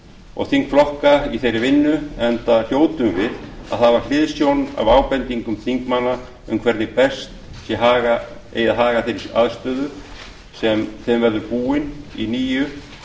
og þingflokka í þeirri vinnu enda hljótum við að hafa hliðsjón af ábendingum þingmanna um hvernig best sé að haga þeirri aðstöðu sem þeim verður búin í nýju